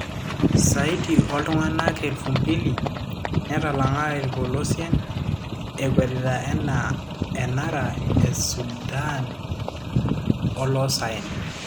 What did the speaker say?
Saidi oltunganak 2,000 netalanga polosien ekwetita enara Sudan olosaen.